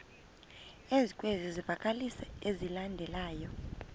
ezikwezi zivakalisi zilandelayo